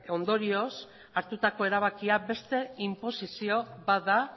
ondorioz hartutako erabakia beste inposizio bat da